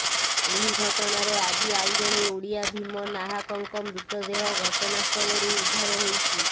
ଏହି ଘଟଣାରେ ଆଜି ଆଉ ଜଣେ ଓଡ଼ିଆ ଭୀମ ନାହାକଙ୍କ ମୃତଦେହ ଘଟଣାସ୍ଥଳରୁ ଉଦ୍ଧାର ହୋଇଛି